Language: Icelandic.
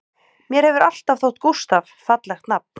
Mér hefur alltaf þótt Gústaf fallegt nafn